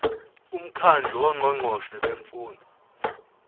umkhandlu wongqongqoshe bemfundo